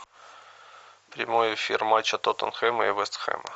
прямой эфир матча тоттенхэма и вест хэма